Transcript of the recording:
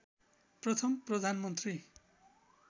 प्रथम प्रधानमन्त्री